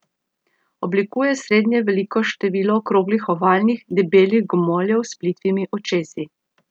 Oblikuje srednje veliko število okroglo ovalnih, debelih gomoljev s plitvimi očesi.